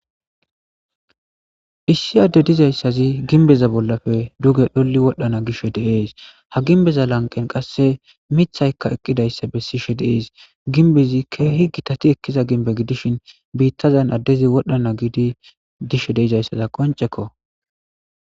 issi adde dizayssazi ginbeza bollafe duge dholli wodhdhana gish de7ees. Ha ginbbeza lanqqen qasse mithaykka eqqidayssa bessishe de7ees. Ginbbezi keehi gitati ekkiza gimbbe gidishin biittazan addezi wodhdhana giidi dishe de7izayssaza qoncekko.